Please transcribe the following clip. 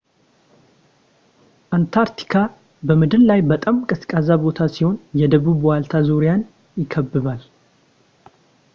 አንታርክቲካ በምድር ላይ በጣም ቀዝቃዛ ቦታ ሲሆን የደቡብ ዋልታ ዙሪያን ይከብባል